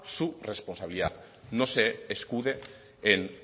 su responsabilidad no se escude en